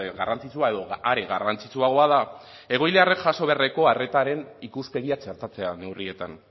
garrantzitsua edo are garrantzitsuagoa da egoiliarrek jaso beharreko arretaren ikuspegia txertatzea neurrietan